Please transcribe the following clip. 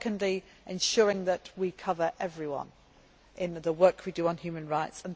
do secondly, ensuring that we cover everyone in the work we do on human rights